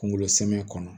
Kunkolo sɛmɛ kɔnɔ